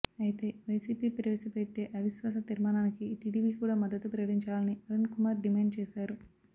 అయితే వైసీపీ ప్రవేశపెట్టే అవిశ్వాస తీర్మాణానికి టిడిపి కూడ మద్దతు ప్రకటించాలని అరుణ్ కుమార్ డిమాండ్ చేశారు